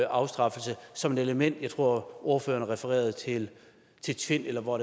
afstraffelse som et element jeg tror at ordføreren refererede til tvind eller hvor